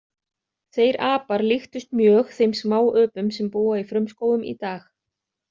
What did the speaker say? Þeir apar líktust mjög þeim smáöpum sem búa í frumskógum í dag.